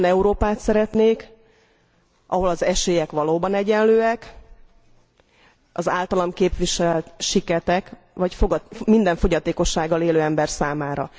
Olyan Európát szeretnék, ahol az esélyek valóban egyenlőek az általam képviselt siketek vagy minden fogyatékossággal élő ember számára.